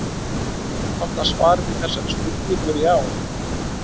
Einfalda svarið við þessari spurningu er já.